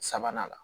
Sabanan la